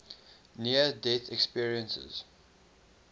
near death experiences